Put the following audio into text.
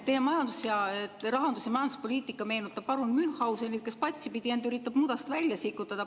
Teie rahandus- ja majanduspoliitika meenutab parun Münchhausenit, kes üritab end patsipidi mudast välja sikutada.